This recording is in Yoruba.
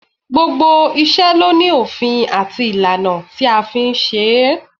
Gbogbo iṣẹ́ ló ní òfin àti ìlànà tí a fi ń ṣe é